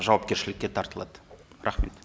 жауапкершілікке тартылады рахмет